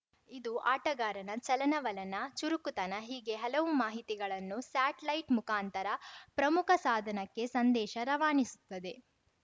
ಇದು ಆಟಗಾರನ ಚಲನವಲನ ಚುರುಕುತನ ಹೀಗೆ ಹಲವು ಮಾಹಿತಿಗಳನ್ನು ಸ್ಯಾಟ್ ಲೈಟ್‌ ಮುಖಾಂತರ ಪ್ರಮುಖ ಸಾಧನಕ್ಕೆ ಸಂದೇಶ ರವಾನಿಸುತ್ತದೆ